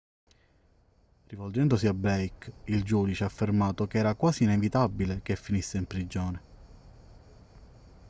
rivolgendosi a blake il giudice ha affermato che era quasi inevitabile che finisse in prigione